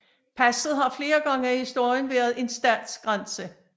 Passet har flere gange i historien været en statsgrænse